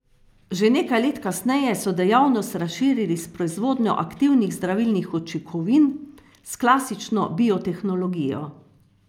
Že nekaj let kasneje so dejavnost razširili s proizvodnjo aktivnih zdravilnih učinkovin s klasično biotehnologijo.